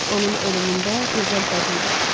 Onun ölümündə gözəl bədilik var.